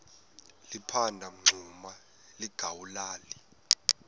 liphanda umngxuma lingawulali